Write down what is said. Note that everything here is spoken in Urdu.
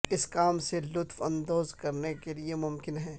اس کام سے لطف اندوز کرنے کے لئے ممکن ہے